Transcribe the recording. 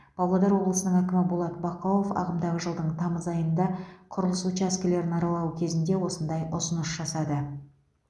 павлодар облысының әкімі болат бақауов ағымдағы жылдың тамыз айында құрылыс учаскелерін аралау кезінде осындай ұсыныс жасады